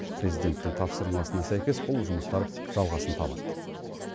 президенттің тапсырмасына сәйкес бұл жұмыстар жалғасын табады